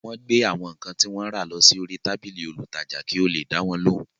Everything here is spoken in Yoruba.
Wọ́n gbé àwọn ǹkan tí wọ́n rà lọ sí orí tábìlì olùtajà kí ó le dáwọn lóhùn